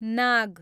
नाग